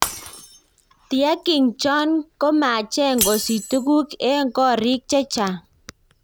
Tiaking chon kemacheng kosich tuguk eng korik chechang.